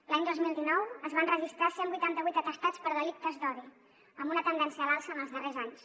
l’any dos mil dinou es van registrar cent i vuitanta vuit atestats per delictes d’odi amb una tendència a l’alça en els darrers anys